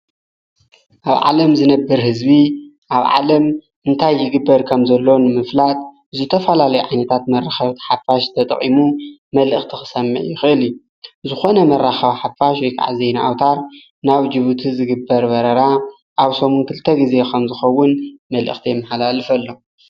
ኣብ ዓለም ዝነብር ሕዝቢ ኣብ ዓለም እንታይ ይግበር ከም ዘሎን ምፍላጥ ዙይ ተፋላለይ ዓኔታት መርኸብቲ ሓፋሽ ተጥዒሙ መልእኽቲ ኽሰማይ ይኽል ዝኾነ መራኻብ ሓፋሽ ወይከዓዘይ ንኣውታር ናብ ጅቡ ቲ ዝግበር በረራ ኣብ ሰሙን ክልተ ጊዜ ኸምዝኸውን መልእኽቲ የምሃላልፍ ኣሎ።